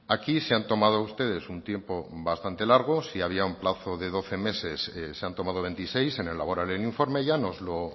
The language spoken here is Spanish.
aquí se han tomado ustedes un tiempo bastante largo si había un plazo de doce meses se han tomado veintiséis en elaborar el informe ya nos lo